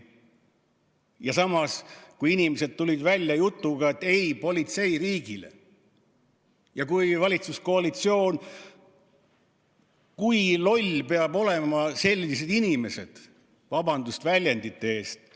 Ja samas, kui inimesed tulid välja loosungiga "Ei politseiriigile!", siis kui loll peab valitsuskoalitsioon olema – vabandust väljendi eest!